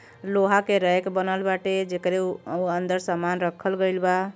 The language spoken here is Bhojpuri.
लोहा के रैक बनल बाटे जेकरे ओ अंदर सामान राखल गइल बा।